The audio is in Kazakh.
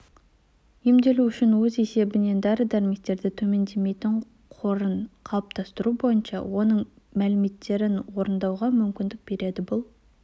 емдеу үшін өз есебінен дәрі-дәрмектердің төмендемейтін қорын қалыптастыру бойынша оның міндеттемелерін орындауға мүмкіндік береді бұл